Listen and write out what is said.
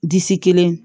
Disi kelen